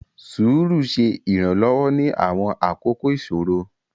Sùúrù ṣe Iranlọwọ ni awọn akoko iṣoro.